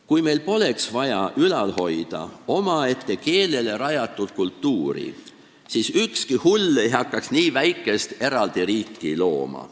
Kui meil poleks vaja ülal hoida omaette keelele rajatud kultuuri, siis ei hakkaks ükski hull nii väikest eraldi riiki looma.